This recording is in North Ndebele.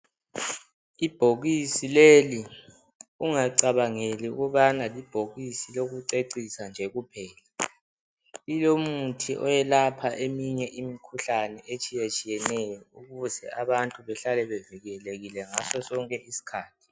Ibhokisi leli ungacabangeli ukubana libhokisi lokucecisa nje kuphela. Lilomuthi oyelapha eminye imikhuhlane etshiyatshiyeneyo ukuze abantu behlale bevikelekile ngaso sonke isikhathi.